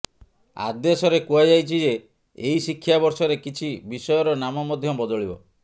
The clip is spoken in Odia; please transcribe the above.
ଆଦେଶରେ କୁହାଯାଇଛିଯେ ଏହି ଶିକ୍ଷା ବର୍ଷରେ କିଛି ବିଷୟର ନାମ ମଧ୍ୟ ବଦଳିବ